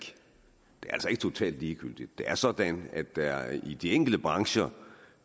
totalt ligegyldigt det er sådan at der i de enkelte brancher